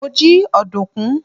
mo ji ọdunkun